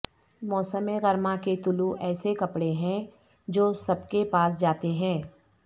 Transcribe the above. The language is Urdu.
موسم گرما کے طلوع ایسے کپڑے ہیں جو سب کے پاس جاتے ہیں